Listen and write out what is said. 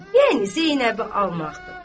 Yəni Zeynəbi almaqdır.